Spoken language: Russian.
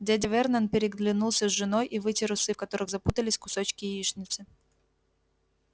дядя вернон переглянулся с женой и вытер усы в которых запутались кусочки яичницы